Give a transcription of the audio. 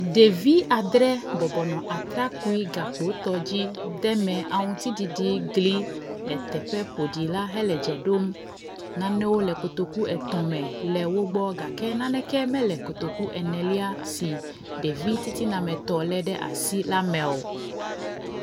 Ɖevi adre bɔbɔnɔ atrakpui gakpotɔ dzi deme aŋutiɖiɖi gli le teƒe ƒoɖi la hele dze ɖom. Nanewo le kotoku etɔ̃ me le wo gbɔ gake naneke me le kotoku enelia si ɖevi titinametɔ le ɖe asi la me o.